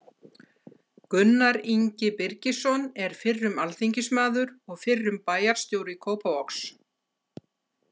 Gunnar Ingi Birgisson er fyrrum alþingismaður og fyrrum bæjarstjóri Kópavogs.